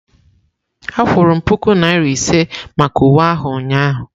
A kwụrụ m puku naira ise maka uwe ahụ ụnyahụ.